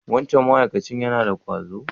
Wancan ma'akacin yana da ƙwazo?